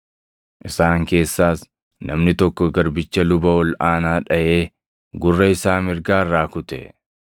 Isaan keessaas namni tokko garbicha luba ol aanaa dhaʼee gurra isaa mirgaa irraa kute.